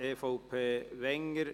EVP/Wenger